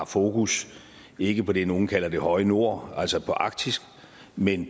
fokus ikke på det nogle kalder det høje nord altså arktis men